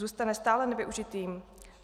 Zůstane stále nevyužitým?